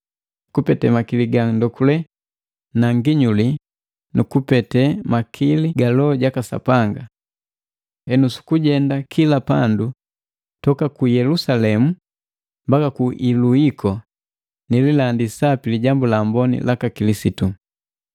kupete makili ga ndonduke na nginyuli, nukupete makili ga Loho jaka Sapanga. Henu suku jenda kila pandu, toka ku Yelusalemu mbaka ku Iluliko, nililandi sapi Lijambu la Amboni laka Kilisitu.